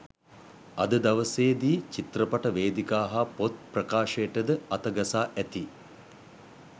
අද දවසේදී චිත්‍රපට වේදිකා හා පොත් ප්‍රකාශයටද අතගසා ඇති